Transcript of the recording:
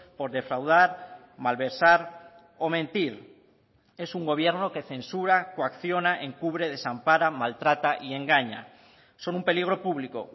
por defraudar malversar o mentir es un gobierno que censura coacciona encubre desampara maltrata y engaña son un peligro público